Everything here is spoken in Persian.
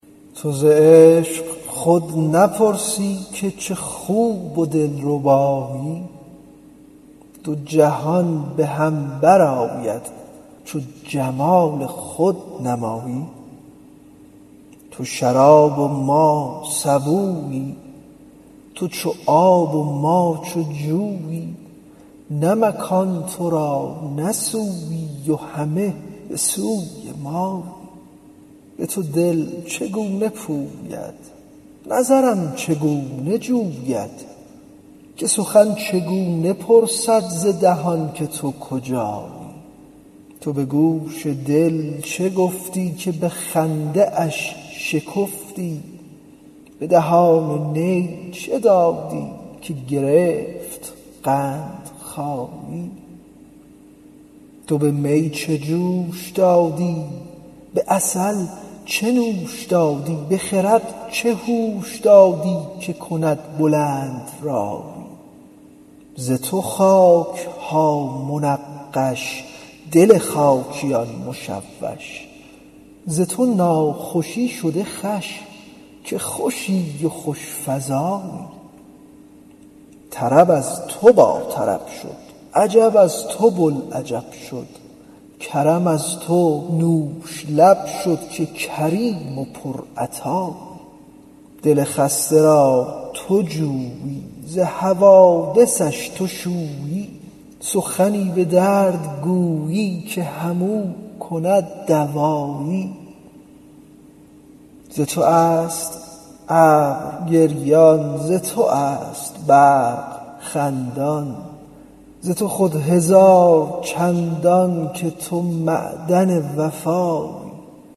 تو ز عشق خود نپرسی که چه خوب و دلربایی دو جهان به هم برآید چو جمال خود نمایی تو شراب و ما سبویی تو چو آب و ما چو جویی نه مکان تو را نه سویی و همه به سوی مایی به تو دل چگونه پوید نظرم چگونه جوید که سخن چگونه پرسد ز دهان که تو کجایی تو به گوش دل چه گفتی که به خنده اش شکفتی به دهان نی چه دادی که گرفت قندخایی تو به می چه جوش دادی به عسل چه نوش دادی به خرد چه هوش دادی که کند بلندرایی ز تو خاک ها منقش دل خاکیان مشوش ز تو ناخوشی شده خوش که خوشی و خوش فزایی طرب از تو باطرب شد عجب از تو بوالعجب شد کرم از تو نوش لب شد که کریم و پرعطایی دل خسته را تو جویی ز حوادثش تو شویی سخنی به درد گویی که همو کند دوایی ز تو است ابر گریان ز تو است برق خندان ز تو خود هزار چندان که تو معدن وفایی